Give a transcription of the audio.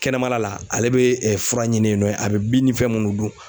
Kɛnɛmala la ale bee fura ɲini yen nɔ ye, a bɛ bin ni fɛn munnu dun